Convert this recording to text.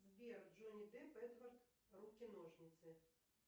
сбер джонни депп эдвард руки ножницы